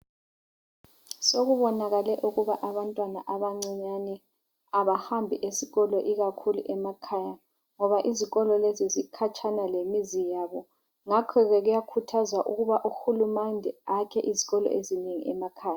Sokubonakale ukuba abantwana abancinyane abahambi esikolo ikakhulu emakhaya ngoba izikolo lezi zikhatshana lemizi yabo. Ngakhoke kuyakhuthazwa ukuba uhulumende akhe izikolo ezinengi emakhaya.